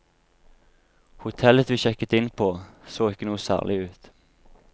Hotellet vi sjekket inn på så ikke noe særlig ut.